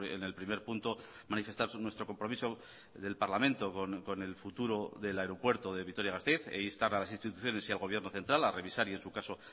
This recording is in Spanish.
en el primer punto manifestar nuestro compromiso del parlamento con el futuro del aeropuerto de vitoria gasteiz e instar a las instituciones y al gobierno central a revisar y en su caso